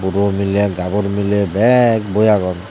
buro mile gabur mile bek boi agon.